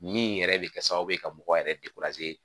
Min yɛrɛ bɛ kɛ sababu ye ka mɔgɔ yɛrɛ